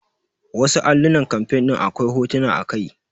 Wasu allunan campaing ɗin akwai hotuna a kai.